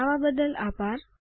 જોડવા બદલ આભાર